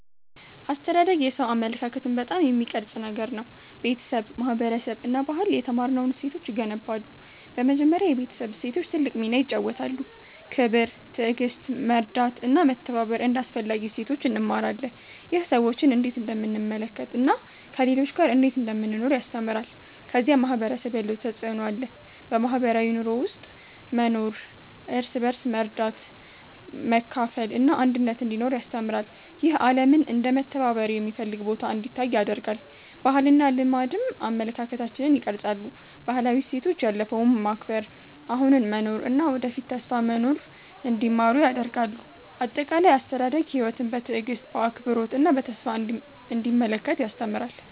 አስተዳደግ የሰው አመለካከትን በጣም የሚቀርጽ ነገር ነው። ቤተሰብ፣ ማህበረሰብ እና ባህል የተማርነውን እሴቶች ይገነባሉ። በመጀመሪያ የቤተሰብ እሴቶች ትልቅ ሚና ይጫወታሉ። ክብር፣ ትዕግሥት፣ መርዳት እና መተባበር እንደ አስፈላጊ እሴቶች እንማራለን። ይህ ሰዎችን እንዴት እንደምንመለከት እና ከሌሎች ጋር እንዴት እንደምንኖር ያስተምራል። ከዚያ ማህበረሰብ ያለው ተፅዕኖ አለ። በማህበራዊ ኑሮ ውስጥ መኖር እርስ በርስ መርዳት፣ መካፈል እና አንድነት እንዲኖር ያስተምራል። ይህ ዓለምን እንደ መተባበር የሚፈልግ ቦታ እንዲታይ ያደርጋል። ባህልና ልማድም አመለካከታችንን ይቀርጻሉ። ባህላዊ እሴቶች ያለፈውን መከብር፣ አሁኑን መኖር እና ወደፊት ተስፋ መኖር እንዲማሩ ያደርጋሉ። አጠቃላይ፣ አስተዳደግ ሕይወትን በትዕግሥት፣ በአክብሮት እና በተስፋ እንዲመለከት ያስተምራል።